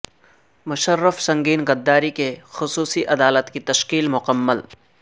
مشرف سنگین غداری کی خصوصی عدالت کی تشکیل مکمل